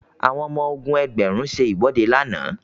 àwọn ọmọ ogun ẹgbẹrun se iwọde làna